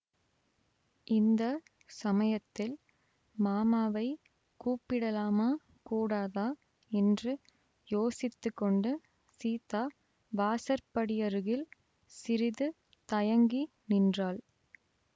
இந்த சமயத்தில் மாமாவைக் கூப்பிடலாமா கூடாதா என்று யோசித்துக்கொண்டு சீதா வாசற்படியருகில் சிறிது தயங்கி நின்றாள்